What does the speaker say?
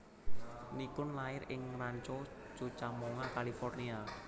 Nichkhun lair ing Rancho Cucamonga California